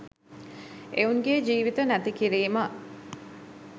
එවුන්ගෙ ජීවිත නැති කිරීම